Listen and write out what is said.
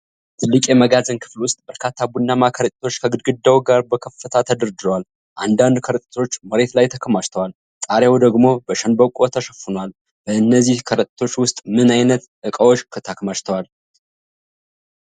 ትልቅ የመጋዘን ክፍል ውስጥ በርካታ ቡናማ ከረጢቶች ከግድግዳው ጋር በከፍታ ተደርድረዋል። አንዳንድ ከረጢቶች መሬት ላይ ተከማችተዋል፣ ጣሪያው ደግሞ በሸንበቆ ተሸፍኗል። በእነዚህ ከረጢቶች ውስጥ ምን ዓይነት ዕቃዎች ተከማችተዋል?